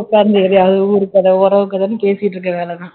உட்கார்ந்து ஏதாவது ஊரு கதை உறவு கதைன்னு பேசிட்டிருக்க வேலைதான்